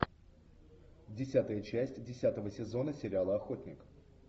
десятая часть десятого сезона сериала охотник